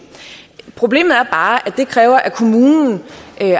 problemet er bare at det kræver at kommunen